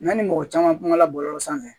Yanni mɔgɔ caman kumala bɔlɔlɔ sanfɛ